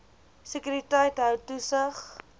sekuriteit hou toesig